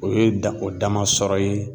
O ye dan o dama sɔrɔ ye.